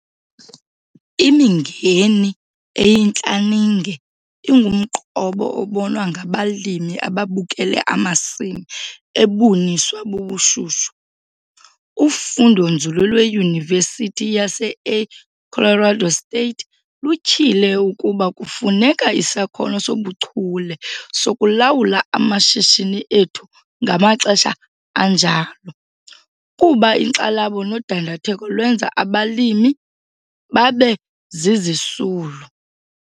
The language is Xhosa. Imingeni eyintlaninge ingumqobo obonwa ngabalimi ababukele amasimi ebuniswa bubushushu. Ufundonzulu lweYunivesithi yaseA Colorado State lutyhile ukuba kufuneka isakhono sobuchule sokulawula amashishini ethu ngamaxesha anjalo kuba inkxalabo nodandatheko lwenza abalimi babe zizisulu.